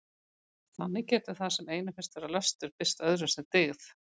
Þannig getur það sem einum finnst vera löstur birst öðrum sem dyggð.